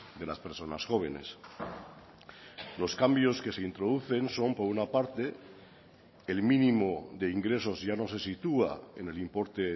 de las personas jóvenes los cambios que se introducen son por una parte el mínimo de ingresos ya no se sitúa en el importe